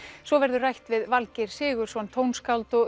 svo verður rætt við Valgeir Sigurðsson tónskáld og